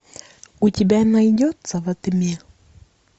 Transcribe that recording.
у тебя найдется во тьме